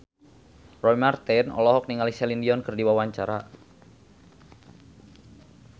Roy Marten olohok ningali Celine Dion keur diwawancara